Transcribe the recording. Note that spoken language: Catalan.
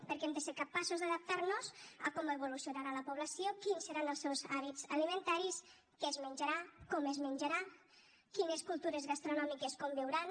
perquè hem de ser capaços d’adaptar nos a com evolucionarà la població quins seran els seus hàbits alimentaris què es menjarà com es menjarà quines cultures gastronòmiques conviuran